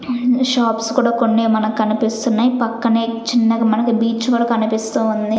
Shops కూడా కొన్ని మనకు కనిపిస్తున్నాయి పక్కనే చిన్నగా మనకి బీచ్ కూడా కనిపిస్తూ ఉంది.